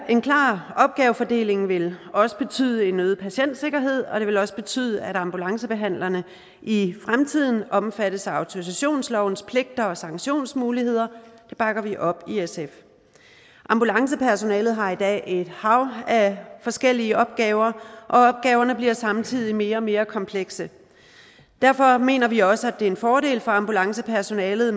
en klar opgavefordeling vil også betyde en øget patientsikkerhed og det vil også betyde at ambulancebehandlerne i fremtiden omfattes af autorisationslovens pligter og sanktionsmuligheder det bakker vi op i sf ambulancepersonalet har i dag et hav af forskellige opgaver og opgaverne bliver samtidig mere og mere komplekse derfor mener vi også at det er en fordel for ambulancepersonalet